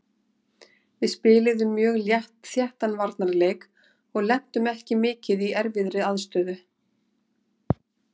Við spiluðum mjög þéttan varnarleik og lentum ekki mikið í erfiðri aðstöðu.